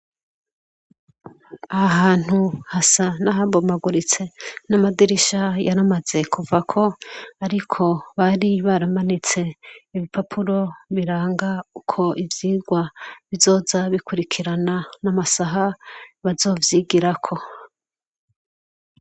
Aha hantu hasa nahabomaguritse namadirisha yaramaze kuvako ariko bari baramanitse ibipapuro biranga uko ivyirwa bizoza bikurikirana namasaha bazovyigirako